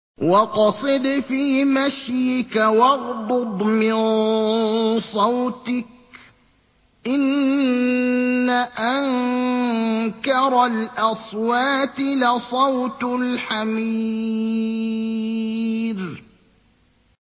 وَاقْصِدْ فِي مَشْيِكَ وَاغْضُضْ مِن صَوْتِكَ ۚ إِنَّ أَنكَرَ الْأَصْوَاتِ لَصَوْتُ الْحَمِيرِ